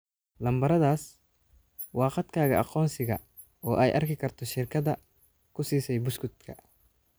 Lambaradaas waa kaadhkaaga aqoonsiga, oo ay arki karto shirkadda ku siisay buskudka.